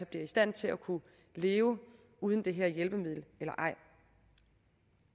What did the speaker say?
bliver i stand til at kunne leve uden det her hjælpemiddel eller ej